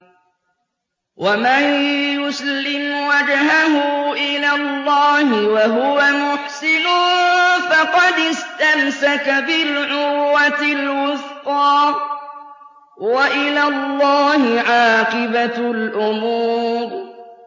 ۞ وَمَن يُسْلِمْ وَجْهَهُ إِلَى اللَّهِ وَهُوَ مُحْسِنٌ فَقَدِ اسْتَمْسَكَ بِالْعُرْوَةِ الْوُثْقَىٰ ۗ وَإِلَى اللَّهِ عَاقِبَةُ الْأُمُورِ